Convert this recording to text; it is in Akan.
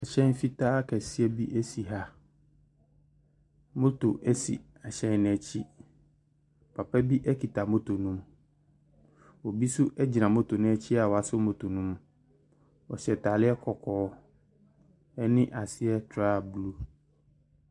Ɛhyɛn fitaa kɛseɛ bi si ha. Motor si ɛhyɛn no akyi. Papa bi kita motor no mu. Obi nso gyina motor no akyi a wasɔ motor no mu. Wɔhyɛ ntadeɛ kɔkɔɔ. Ne aseɛ trou blue.